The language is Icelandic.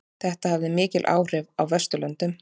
Þetta hafði mikil áhrif á Vesturlöndum.